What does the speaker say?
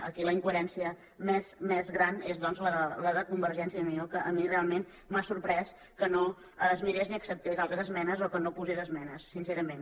aquí la incoherència més gran és doncs la de convergència i unió que a mi realment m’ha sorprès que no es mirés ni acceptés altres esmenes o que no hi posés esmenes sincerament